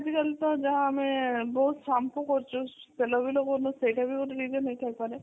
ଆଜି କାଲି ତା ଯାହା ଆମେ ବହୁତ shampoo କରୁଛୁ ତେଲ ବି ଲଗଉନୁ ସେଇଟା ବି ଗୋଟେ reason ହେଇ ଥାଇ ପରେ